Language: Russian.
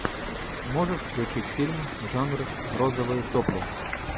можешь включить фильм жанр розовые сопли